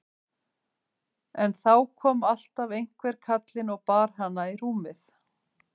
En þá kom alltaf einhver kallinn og bar hana í rúmið.